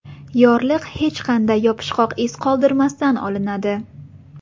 Yorliq hech qanday yopishqoq iz qoldirmasdan olinadi.